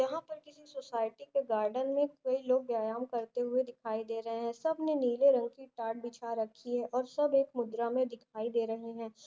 यहा पर किसी सोसाइटी का गार्डन मे कई लोग व्यायाम करते दिखाई दे रहे हे सबने नीले रंग की टाट बिछा रखी हे सब एक मुद्रा मे दिखाई दे रहे हे।